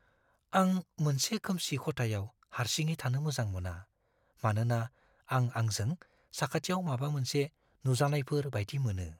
आं मोनसे खोमसि खथायाव हारसिङै थानो मोजां मोना, मानोना आं आंजों साखाथियाव माबा मोनसे नुजानायफोर बायदि मोनो।